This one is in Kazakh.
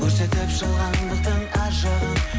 көрсетіп жалғандықтың аз жағын